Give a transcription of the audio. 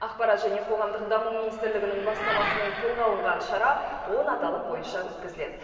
ақпарат және қоғамдық даму министрлігінің бастамасымен қолға алынған шара он аталым бойынша өткізіледі